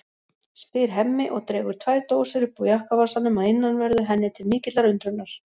spyr Hemmi og dregur tvær dósir upp úr jakkavasanum að innanverðu henni til mikillar undrunar.